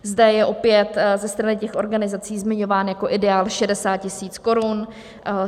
Zde je opět ze strany těch organizací zmiňován jako ideál 60 000 korun.